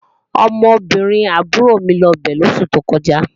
Ọmọbìnrin àbúrò mi lọ bẹ̀ lóṣù tó kọjá